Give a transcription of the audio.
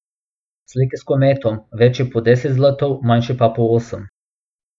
Slike s kometom, večje po deset zlotov, manjše pa po osem.